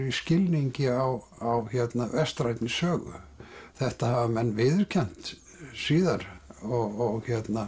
í skilningi á vestrænni sögu þetta hafa menn viðurkennt síðar og